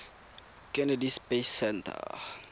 kennedy space center